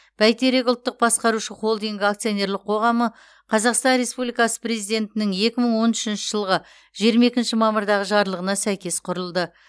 бәйтерек ұлттық басқарушы холдингі акционерлік қоғамы қазақстан республикасы президентінің екі мың он үшінші жылғы жиырма екінші мамырдағы жарлығына сәйкес құрылды